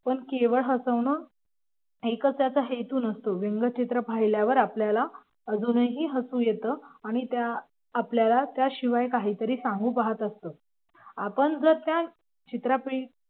पण केवळ हसवण एकच त्याचा हेतू नसतो व्यंगचित्र पाहिल्यावर आपल्याला अजूनही हसू येतं. आणि आपल्याला त्याशिवाय काही सांगू पाहत असतं आपण जर त्या चित्रापायी